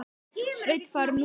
Sveinn farinn út?